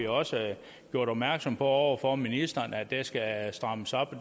også gjort opmærksom på over for ministeren at det skal strammes op og